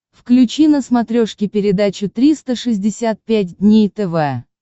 включи на смотрешке передачу триста шестьдесят пять дней тв